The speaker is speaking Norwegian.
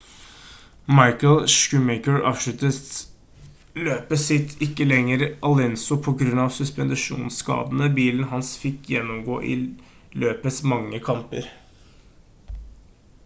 michael schumacher avsluttet løpet sitt ikke lenge etter alonso på grunn av suspensjonskadene bilen hans fikk gjennomgå i løpets mange kamper